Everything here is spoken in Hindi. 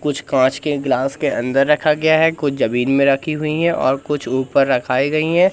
कुछ कांच के गिलास के अंदर रखा गया है। कुछ जमीन में रखी हुई है और कुछ ऊपर रखाई गई है।